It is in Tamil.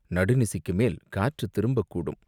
நடுநிசிக்கு மேல் காற்றுத் திரும்பக்கூடும்.